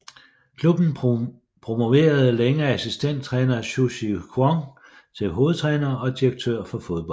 Klubben promoverede længe assistenttræner Chu Chi Kwong til hovedtræner og direktør for fodbold